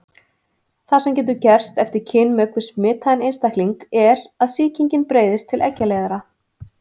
Það sem getur gerst eftir kynmök við smitaðan einstakling er að sýkingin breiðist til eggjaleiðara.